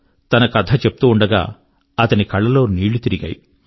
తన కథ చెప్తూ ఉండగా అతని కళ్ళ లో నీళ్ళు తిరిగాయి